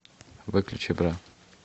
выключи бра